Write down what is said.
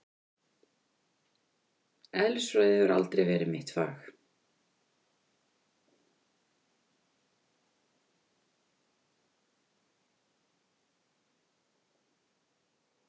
Eðlisfræði hefur aldrei verið mitt fag.